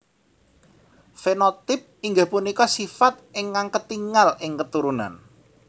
Fenotip inggih punika sifat ingkang ketingal ing keturunan